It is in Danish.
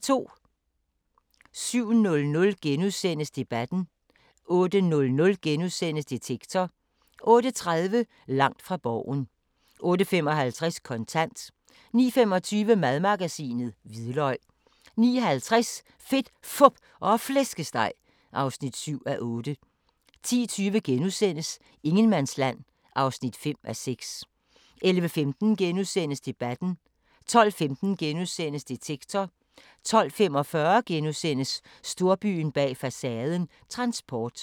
07:00: Debatten * 08:00: Detektor * 08:30: Langt fra Borgen 08:55: Kontant 09:25: Madmagasinet: Hvidløg 09:50: Fedt, Fup og Flæskesteg (7:8) 10:20: Ingenmandsland (5:6)* 11:15: Debatten * 12:15: Detektor * 12:45: Storbyen bag facaden – transport *